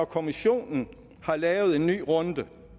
kommissionen har lavet en ny runde og